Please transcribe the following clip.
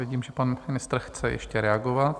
Vidím, že pan ministr chce ještě reagovat.